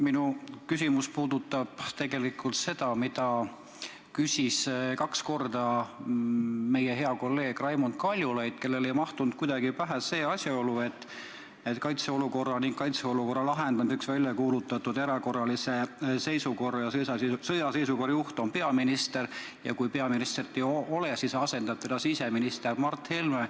Minu küsimus puudutab tegelikult sama teemat, mille kohta küsis kaks korda meie hea kolleeg Raimond Kaljulaid, kellele ei mahtunud kuidagi pähe asjaolu, et kaitseolukorra ning kaitseolukorra lahendamiseks välja kuulutatud erakorralise seisukorra ja sõjaseisukorra juht on peaminister ja kui peaministrit ei ole, siis asendab teda siseminister Mart Helme.